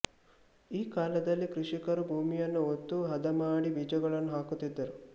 ಈ ಕಾಲದಲ್ಲಿ ಕೃಷಿಕರು ಭೂಮಿಯನ್ನು ಉತ್ತು ಹದಮಾಡಿ ಬೀಜಗಳನ್ನು ಹಾಕುತ್ತಿದ್ದರು